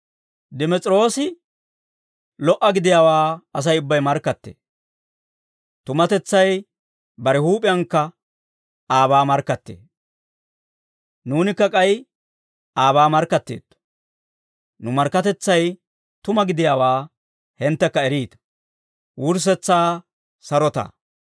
Dimes'iroosi lo"a gidiyaawaa Asay ubbay markkattee; tumatetsay bare huup'iyankka aabaa markkattee. Nuunikka k'ay aabaa markkatteetto; nu markkatetsay tuma gidiyaawaa hinttekka eriita.